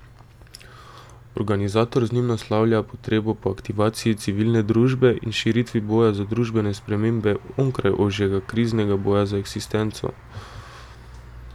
Organizator z njim naslavlja potrebo po aktivaciji civilne družbe in širitvi boja za družbene spremembe onkraj ožjega kriznega boja za eksistenco.